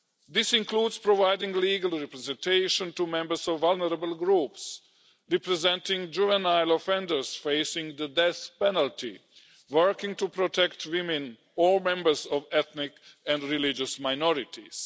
This includes providing legal representation to members of vulnerable groups, representing juvenile offenders facing the death penalty, working to protect women or members of ethnic and religious minorities.